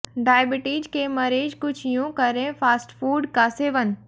diabetes के मरीज कुछ यूं करें फास्टफूड का सेवन